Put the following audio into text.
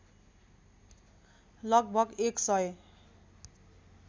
लगभग एक सय